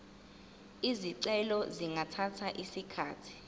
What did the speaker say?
izicelo zingathatha isikhathi